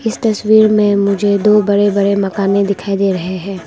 इस तस्वीर में मुझे दो बड़े बड़े मकाने दिखाई दे रहे हैं।